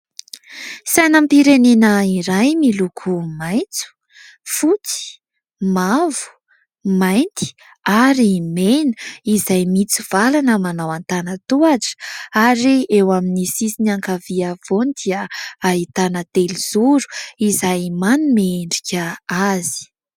Sainam-pirenena iray miloko maitso, fotsy, mavo, mainty ary mena, izay mitsivalana manao antanan-tohatra ary eo amin'ny sisiny ankavia ampovoany dia ahitana telozoro izay manome endrika azy.